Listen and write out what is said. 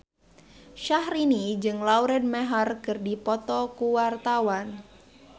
Syahrini jeung Lauren Maher keur dipoto ku wartawan